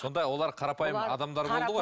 сонда олар қарапайым адамдар болды ғой